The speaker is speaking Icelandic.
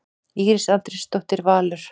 Íris Andrésdóttir, Valur.